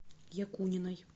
якуниной